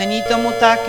Není tomu tak.